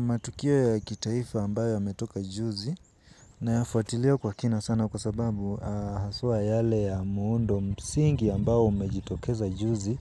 Matukio ya kitaifa ambayo yametoka juzi na yafuatilia kwa kina sana kwa sababu haswa yale ya muundo msingi ambayo umejitokeza juzi